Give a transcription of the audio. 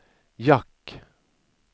jack